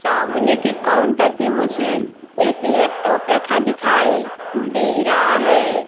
सामने के काउंटर पे मुझे एक लैपटॉप रखा दिखाई दे रहा है।